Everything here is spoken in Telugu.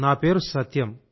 నా పేరు సత్యం